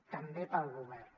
també per al govern